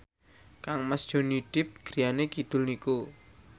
kangmas Johnny Depp griyane kidul niku